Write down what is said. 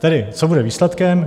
Tedy co bude výsledkem?